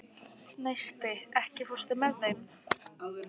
Neisti, ekki fórstu með þeim?